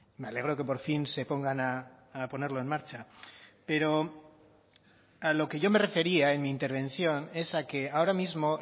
me alegro que por fin se pongan a ponerlo en marcha pero a lo que yo me refería en mi intervención es a que ahora mismo